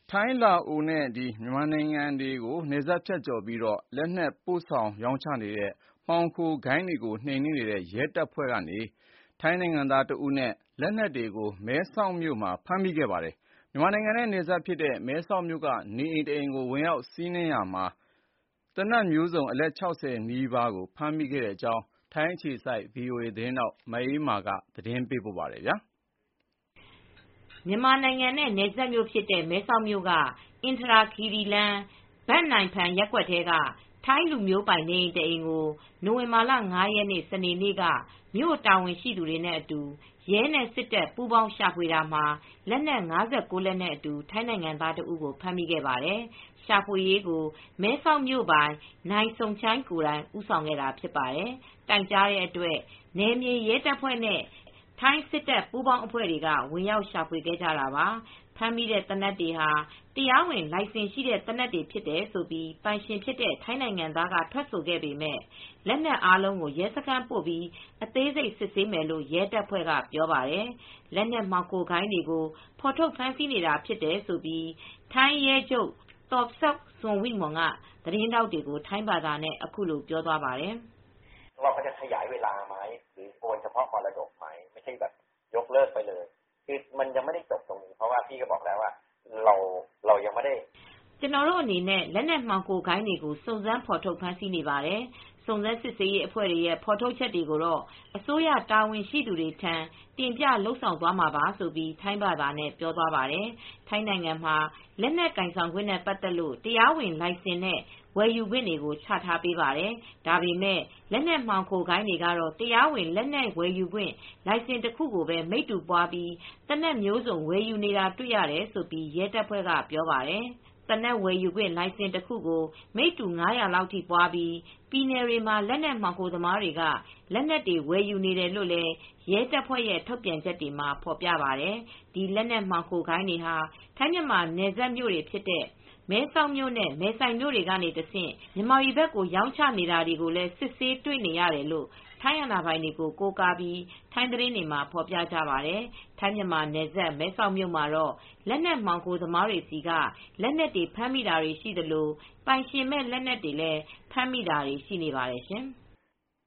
ထိုင်း၊ လာအိုနဲ့မြန်မာနိုင်ငံတွေကိုနယ်စပ်ဖြတ်ကျော်ပြီး လက်နက်ပို့ဆောင်ရောင်းချနေတဲ့မှောင်ခိုဂိုဏ်းတွေကို နှိမ်နှင်းနေတဲ့ ရဲတပ်ဖွဲ့ကထိုင်းနိုင်ငံသားတဦးနဲ့ လက်နက်တွေကို မဲဆောက်မြို့မှာ ဖမ်းမိခဲ့ပါတယ်။ မြန်မာနိုင်ငံနဲ့နယ်စပ်ဖြစ်တဲ့ မဲဆောက်မြို့က နေအိမ်တလုံးကို ဖမ်းဝရမ်းနဲ့ဝင်ရောက်ရှာဖွေရာမှာ သေနတ်မျိုးစုံ အလက် ၆၀ နီးပါးဖမ်းမိတဲ့အကြောင်း ထိုင်းအခြေစိုက် ဗီအိုအေသတင်းထောက် မအေးအေးမာက သတင်းပေးပို့ပါတယ်။ မြန်မာနိုင်ငံနဲ့ နယ်စပ်မြို့ဖြစ်တဲ့ မဲဆောက်မြို့က၊ အင်ထရာခီရိလမ်း၊ ဘန့်နိုင်ဖန်ရပ်ကွက်ထဲက ထိုင်းလူမျိုးပိုင်နေ အိမ်တအိမ်ကို နိုဝင်ဘာလ ၅ ရက်၊ စနေနေ့က မြို့တာဝန်ရှိသူတွေအတူရဲနဲ့ စစ်တပ်ပူးပေါင်းဝင်ရောက်ရှာဖွေရာမှာ လက်နက် ၅၉ လက်နဲ့အတူ ထိုင်းနိုင်ငံသားတဦးကို ဖမ်းမိခဲ့ပါတယ်။ ရှာဖွေရေးကို မဲဆောက်မြို့ပိုင် Somchai Trithipchatsakul နိုင်စုန်ချိုင် ကိုယ်တိုင်ဦးဆောင်ခဲ့တာဖြစ်ပါတယ်။ တိုင်ကြားတဲ့အတွက် နယ်မြေရဲတပ်ဖွဲ့နဲ့ထိုင်း စစ်တပ်ပူးပေါင်းအဖွဲ့တွေက ဝင်ရောက်ရှာဖွေခဲ့ကြတာပါ။ ဖမ်းမိတဲ့သေနတ်တွေဟာ တရားဝင်လိုင်စင်ရှိတဲ့ သေနတ်တွေဖြစ်တယ်လို့ ပိုင်ရှင်ဖြစ်တဲ့ ထိုင်းနိုင်ငံသားကထွက်ဆိုခဲ့ပေမယ့် လက်နက်အားလုံးကို ရဲစခန်းပို့ပြီး အသေးစိတ်စစ်ဆေးမယ်လို့ ရဲတပ်ဖွဲ့ကပြောပါတယ်။ လက်နက်မှောင်ခိုဂိုဏ်းတွေကို ဖော်ထုတ် ဖမ်းဆီးနေတာ ဖြစ်တယ်လို့ ထိုင်းရဲချုပ် Torsak Sukwimol သော်ဆပ် စွတ်ဝိမွန်က သတင်းထောက်တွေကို ထိုင်းဘာသာနဲ့ အခုလိုပြောသွားပါတယ်။ “ကျနော်တို့အနေနဲ့လက်နက်မှောင်ခိုဂိုဏ်းတွေကို စုံးစမ်းဖေါ်ထုတ်ဖမ်းဆီးနေပါတယ် စုံစမ်းစစ်ဆေးရေးအဖွဲ့တွေရဲ့ ဖေါ်ထုတ်ချက်တွေကိုတော့ အစိုးရတာဝန်ရှိသူတွေထံ တင်ပြလုပ်ဆောင်သွားမှာပါ” ဆိုပြီးထိုင်းဘာသာနဲ့ပြောသွား ပါတယ်၊ ထိုင်းနိုင်ငံမှာ လက်နက်ကိုင်ဆောင်ခွင့်နဲ့ပတ်သက်လို့ တရားဝင်လိုင်စင်နဲ့ ဝယ်ယူခွင့်တွေကိုချပေးထားပါတယ်။ ဒါပေမယ့် လက်နက်မှောင်ခိုဂိုဏ်းတွေကတော့ တရားဝင်လက်နက်ဝယ်ယူခွင့် လိုင်စင်တခုကိုပဲ မိတ္တူပွားပြီး သေနတ်မျိုးစုံ ဝယ်ယူနေတာတွေ့ရတယ်လို့ရဲတပ်ဖွဲ့က ပြောပါတယ်။ သေနတ်ဝယ်ယူခွင့်လိုင်စင်တခုကို မိတ္တူ ၅၀၀ လောက်အထိပွားပြီး ပြည်နယ်တွေမှာ လက်နက်မှောင်ခိုသမားတွေက လက်နက်တွေ ဝယ်ယူနေတယ်လို့ ရဲတပ်ဖွဲ ွှရဲ့ ထုတ်ပြန်ချက်တွေမှာဖော်ပြပါတယ်။ ဒီလက်နက်မှောင်ခိုဂိုဏ်းတွေဟာ ထိုင်းမြန်မာနယ်စပ်မြို့တွေဖြစ်တဲ့ မဲဆောက်မြို့နဲ့မယ်ဆိုင်မြို့တွေကတဆင့် မြန်မာပြည်ဘက်ကို ရောင်းချနေတာတွေ ကိုလည်းစစ်ဆေးတွေ့နေရတယ်လို့ ထိုင်းအာဏာပိုင်တွေကိုကိုးကားပြီး ထိုင်းသတင်းတွေမှာ ဖော်ပြကြပါတယ် ၊ ထိုင်းမြန်မာနယ်စပ် မဲဆောက်မြို့မှာတော့ လက်နက်မှောင်ခိုသမားတွေဆီက လက်နက်တွေဖမ်းမိတာတွေလည်း ရှိသလို ပိုင်ရှင်မဲ့လက်နက်တွေဖမ်းမိတာတွေရှိနေပါတယ်ရှင်။